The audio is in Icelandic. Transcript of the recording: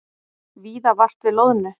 Víða vart við loðnu